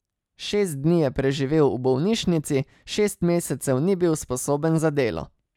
Šest dni je preživel v bolnišnici, šest mesecev ni bil sposoben za delo.